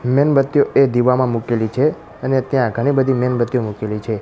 મીનબત્તીઓ એ દીવામાં મુકેલી છે અને ત્યાં ઘણી બધી મીનબત્તીઓ મુકેલી છે.